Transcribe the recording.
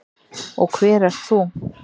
Og hver ert þú?